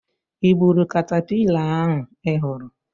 Ị gburu katapila ahụ ị hụrụ?